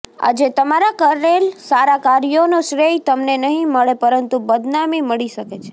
આજે તમારા કરેલ સારા કાર્યોનો શ્રેય તમને નહિ મળે પરંતુ બદનામી મળી શકે છે